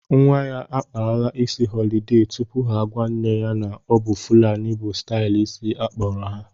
Nwa ya akpara isi họlide tupu ha agwa nne ya na-ọbụ fulani bụ stailu isi akpọrọ ha